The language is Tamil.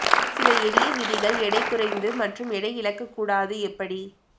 சில எளிய விதிகள் எடை குறைந்து மற்றும் எடை இழக்க கூடாது எப்படி